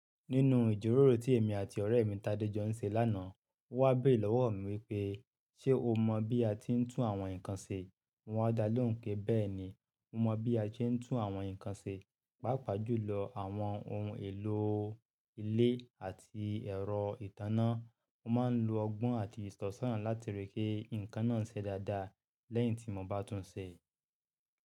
Nínú ìjíròrò tí èmi àti ọ̀rẹ́ mi Tade jọ ń ṣe lánàá, ó wá béèrè lọ́wọ́ mi wípé: "Ṣé o mọ bí a ti ń tún àwọn nǹkan ṣe?" Mo wa dá lóhùn pé bẹ́ẹ̀ ni, mo mọ bí a ṣe ń tún àwọn nǹkan ṣe, pàápàá jùlọ àwọn ohun èlò ilé àti ẹ̀rọ ìtanná. Mo máa ń lo ọgbọ́n àti ìsọ̀sọ̀ràn láti ríi pé nǹkan náà ṣe dáadáa lẹ́yìn tí mo bá tún un ṣe.